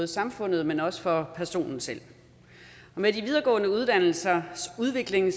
samfundet men også for personen selv med de videregående uddannelsers udvikling har